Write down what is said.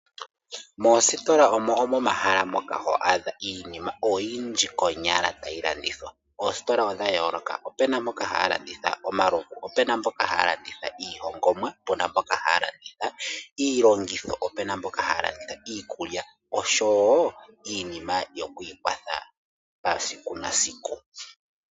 Moostola omo momahala moka ho adha oyindji konyala tayi landithwa. Oostola odha yoloka opuna moka hamu landithwa omalovu, opuna moka hamu landithwa iihongomwa, opuna mboka haya landitha iilongitho, opuna mboka haya landitha iikulya, oshowo iinima yokwikwatha pasiku nasiku.